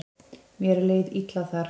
Mér leið illa þar.